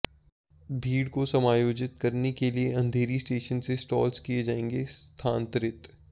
भीड़ को समायोजित करने के लिए अंधेरी स्टेशन से स्टॉल्स किये जाएंगे स्थान्तरित